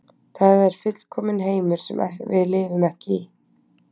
Það er fullkominn heimur sem við lifum ekki í.